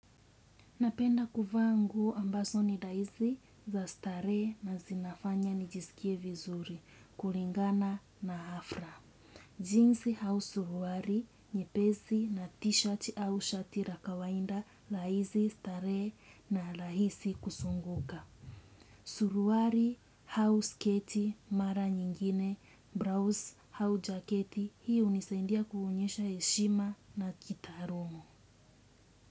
Napenda kuvaa nguo ambazo ni daizi za starehe na zinafanya nijisikie vizuri, kulingana na hafra. Jinsi au suruari, nyepesi na t-shirt au shati ra kawainda laizi starehe na rahisi kusunguka. Suruari au sketi, mara nyingine, braus su jaketi, hiyo hunisaindia kuonyesha heshima na kitarumo.